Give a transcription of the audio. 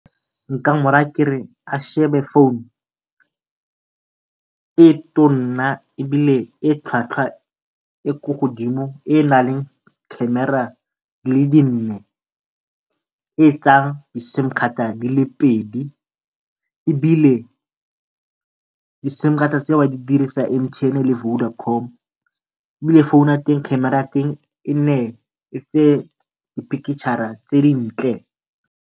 Nka mo raya kere a shebe phone e tonna ebile e tlhwatlhwa e ko godimo, e e naleng camera di le nne e tsaya di sim-khata di le pedi ebile di sim-khata tseo di dirisa M_T_N le Vodacom. Ebile phone ya teng camera ya teng e tseye dipikitšhara tse di ntle.